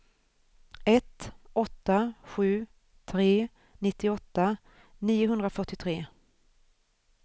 ett åtta sju tre nittioåtta niohundrafyrtiotre